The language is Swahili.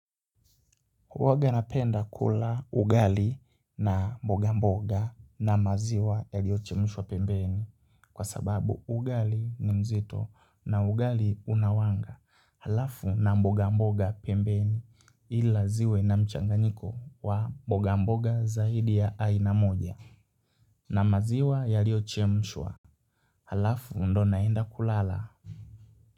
Huwanga napenda kula ugali na mboga mboga na maziwa yaliochemshwa pembeni kwa sababu ugali ni mzito na ugali una wanga halafu na mboga mboga pembeni ila ziwe na mchanganyiko wa mboga mboga zaidi ya aina moja na maziwa yaliochemshwa Halafu ndio naenda kulala.